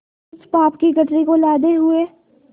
उस पाप की गठरी को लादे हुए